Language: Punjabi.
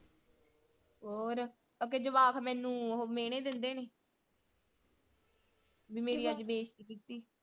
ਹੋਰ ਆਖੇ ਜਵਾਕ ਮੈਨੂੰ ਉਹ ਮੇਹਣੇ ਦਿੰਦੇ ਨੇ ਮੇਰੀ ਅੱਜ ਬੇਸਤੀ ਕੀਤੀ।